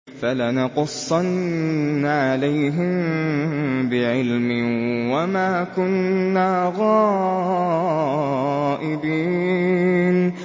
فَلَنَقُصَّنَّ عَلَيْهِم بِعِلْمٍ ۖ وَمَا كُنَّا غَائِبِينَ